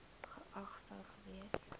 geag sou gewees